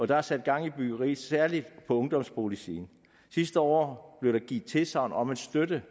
der er sat gang i byggeriet særlig på ungdomsboligsiden sidste år blev der givet tilsagn om at støtte